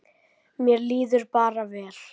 Mér líður bara vel.